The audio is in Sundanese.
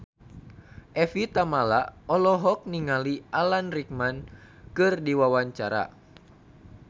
Evie Tamala olohok ningali Alan Rickman keur diwawancara